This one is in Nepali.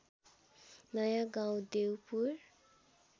नयाँ गाउँ देउपुर